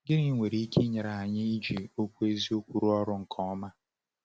Gịnị nwere ike inyere anyị iji Okwu Eziokwu rụọ ọrụ nke ọma?